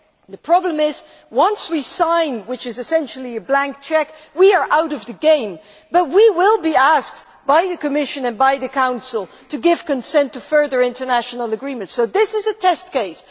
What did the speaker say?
The problem is that once we have signed what is essentially a blank cheque we are out of the game, but we will be asked by the Commission and the Council to give consent to further international agreements, so this is a test case.